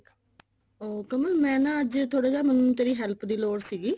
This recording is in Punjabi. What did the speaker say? ਉਹ ਕਮਲ ਮੈਂ ਨਾ ਅੱਜ ਥੋੜਾ ਜਾ ਮੈਨੂੰ ਨਾ ਤੇਰੀ help ਦੀ ਲੋੜ ਸੀਗੀ